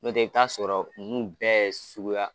Nɔtɛ, i bi t'a sɔrɔ ninnu bɛɛ suguya kelen.